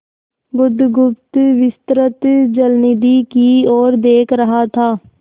बुधगुप्त विस्तृत जलनिधि की ओर देख रहा था